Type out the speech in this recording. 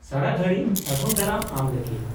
ᱥᱟᱨᱟᱜᱷᱟᱹᱲᱤᱡ ᱥᱟᱹᱜᱩᱱ ᱫᱟᱨᱟᱢ ᱟᱢ ᱞᱟᱹᱜᱤᱫ ᱾